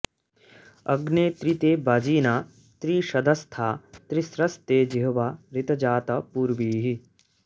अग्ने॒ त्रीते॒ वाजि॑ना॒ त्रीष॒धस्था॑ ति॒स्रस्ते॑ जि॒ह्वा ऋ॑तजात पू॒र्वीः